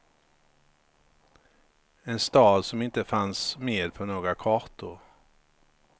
En stad som inte fanns med på några kartor.